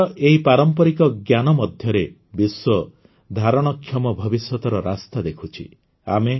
ଭାରତର ଏହି ପାରମ୍ପରିକ ଜ୍ଞାନ ମଧ୍ୟରେ ବିଶ୍ୱ ଧାରଣକ୍ଷମ ଭବିଷ୍ୟତର ରାସ୍ତା ଦେଖୁଛି